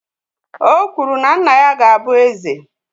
O kwuru na nna ya ga-abụ eze.